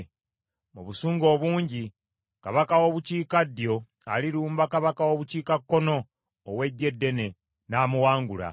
“Mu busungu obungi, kabaka w’obukiikaddyo alirumba kabaka w’obukiikakkono ow’eggye eddene, n’amuwangula.